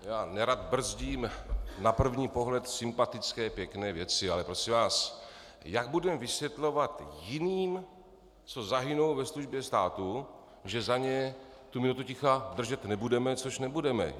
Já nerad brzdím na první pohled sympatické, pěkné věci, ale prosím vás, jak budeme vysvětlovat jiným, co zahynou ve službě státu, že za ně tu minutu ticha držet nebudeme, což nebudeme?